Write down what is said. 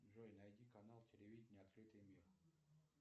джой найди канал телевидения открытый мир